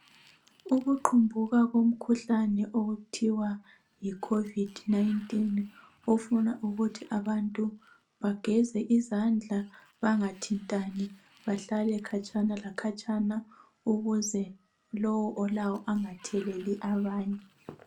Ukuqumbuka komkhuhlane okuthiwa yicovid 19 ofuna ukuthi abantu bageze izandla bangathintani, bahlale khatshana lakhatshana ukuze lowo olawo angatheleli abanye.